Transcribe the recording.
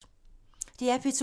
DR P2